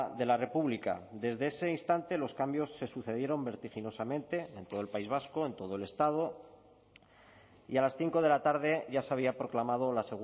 de la república desde ese instante los cambios se sucedieron vertiginosamente en todo el país vasco en todo el estado y a las cinco de la tarde ya se había proclamado la